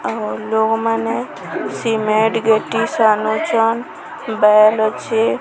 ଆଉ ଲୋଗମାନେ ସିମେଣ୍ଟ ଗେଟି ସାନୁଛନ ବେଲ ଅଛି।